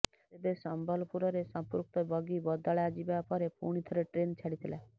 ତେବେ ସମ୍ବଲପୁରରେ ସଂପୃକ୍ତ ବଗି ବଦଳାଯିବା ପରେ ପୁଣିଥରେ ଟ୍ରେନ୍ ଛାଡିଥିଲା